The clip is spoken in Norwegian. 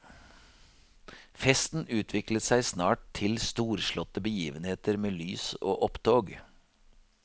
Festen utviklet seg snart til storslåtte begivenheter med lys og opptog.